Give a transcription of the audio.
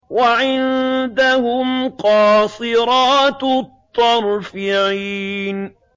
وَعِندَهُمْ قَاصِرَاتُ الطَّرْفِ عِينٌ